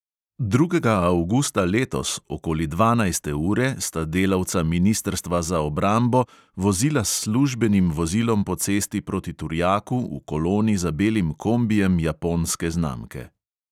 Drugega avgusta letos, okoli dvanajste ure sta delavca ministrstva za obrambo vozila s službenim vozilom po cesti proti turjaku v koloni za belim kombijem japonske znamke.